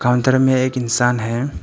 Counter में एक इंसान है।